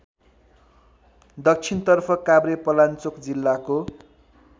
दक्षिणतर्फ काभ्रेपलाल्चोक जिल्लाको